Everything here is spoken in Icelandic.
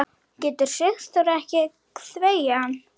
Getur Sigþóra ekki þvegið hann?